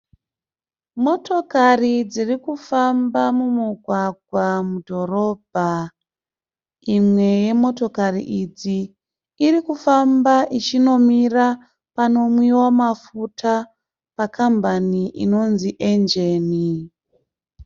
Motokari dziri kufamba mumugwagwa mudhorobha. Imwe yemotokari idzi irikufamba ichinomira panomwiwa mafuta, pakambani inonzi "Engen."